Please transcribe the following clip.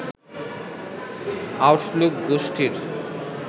Outlook গোষ্ঠীর